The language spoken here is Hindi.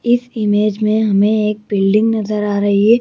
इस इमेज में हमें एक बिल्डिंग नजर आ रही है।